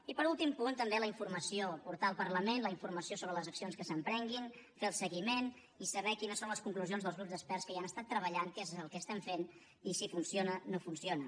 i com a últim punt també la informació portar al parlament la informació sobre les accions que s’emprenguin fer ne el seguiment i saber quines són les conclusions dels grups d’experts que hi han estat treballant què és el que estem fent i si funciona no funciona